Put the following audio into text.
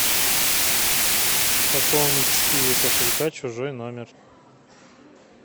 пополнить с киви кошелька чужой номер